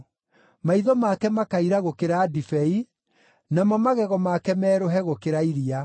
Maitho make makaira gũkĩra ndibei, namo magego make merũhe gũkĩra iria.